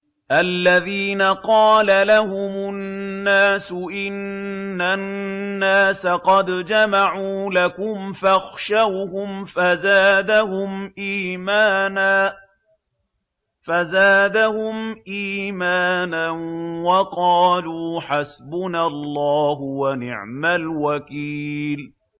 الَّذِينَ قَالَ لَهُمُ النَّاسُ إِنَّ النَّاسَ قَدْ جَمَعُوا لَكُمْ فَاخْشَوْهُمْ فَزَادَهُمْ إِيمَانًا وَقَالُوا حَسْبُنَا اللَّهُ وَنِعْمَ الْوَكِيلُ